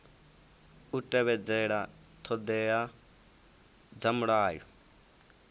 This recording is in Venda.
u tevhedzela ṱhoḓea dza mulayo